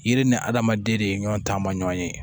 Yiri ni adamaden de ye ɲɔn taamaɲɔ ye